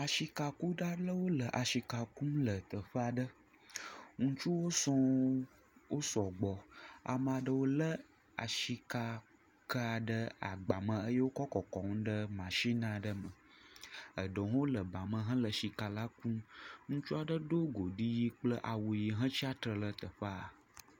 asika kuɖa ɖewo le asika kum le teƒeaɖe ŋutsuwo sɔŋ wó sɔgbɔ amaɖe wo le asika ka wó ɖe agbame wó kɔ́ kɔkɔm ɖe machinaɖe me eɖewo hã le ba me hele sika la kum ŋutsuaɖe ɖó godi yi kple awu yi he tsiatle le teƒaa